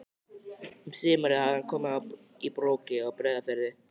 Um sumarið hafði hann komið í Brokey á Breiðafirði.